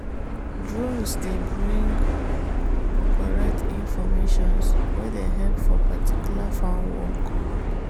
drones dey bring correct informations wey dey help for particular farm work.